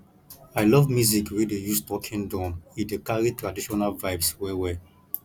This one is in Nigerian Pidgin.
i love music wey dey use talking drum e dey carry traditional vibes wellwell